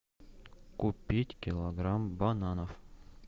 купить килограмм бананов